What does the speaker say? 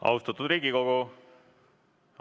Austatud Riigikogu!